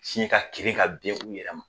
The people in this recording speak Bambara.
Si ka kirin ka ben u yɛrɛ ma.